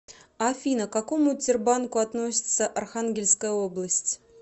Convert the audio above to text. афина к какому тербанку относится архангельская область